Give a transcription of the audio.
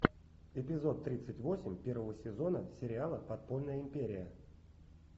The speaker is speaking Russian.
эпизод тридцать восемь первого сезона сериала подпольная империя